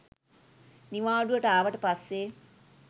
නිවාඩුවට ආවට පස්සේ